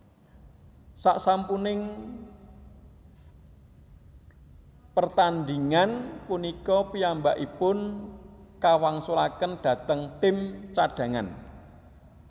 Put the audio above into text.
Sasampuning pertandhingan punika piyambakipun kawangsulaken dhateng tim cadhangan